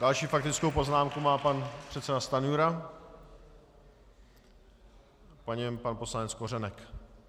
Další faktickou poznámku má pan předseda Stanjura, po něm pan poslanec Kořenek.